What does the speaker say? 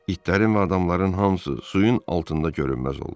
İtlərin və adamların hamısı suyun altında görünməz oldu.